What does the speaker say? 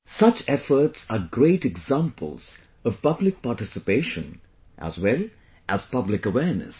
Such efforts are great examples of public participation as well as public awareness